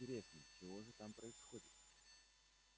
интересно чего же там происходит